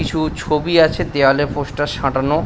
কিছু ছবি আছে দেয়ালে পোস্টার সাঁটানো।